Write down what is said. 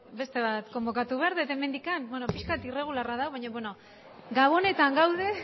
beste bat konbokatu behar dut hemendik bueno pixka bat irregularra da hau baina gabonetan gaude